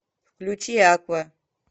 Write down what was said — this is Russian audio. включи аква